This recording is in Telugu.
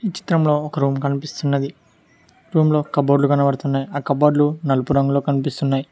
ఈ చిత్రంలో ఒక రూమ్ కనిపిస్తున్నది రూమ్ లో కబోర్డ్ లు కనబడుతున్నాయి ఆ కబోర్డ్ లు నలుపు రంగులో కనిపిస్తున్నాయి.